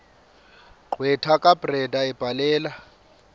gqwetha kabrenda ebhalela